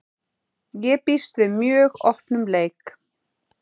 Ég býst við mjög opnum leik.